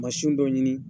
Mansinw dɔ ɲini